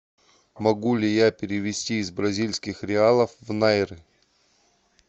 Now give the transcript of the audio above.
могу ли я перевести из бразильских реалов в найры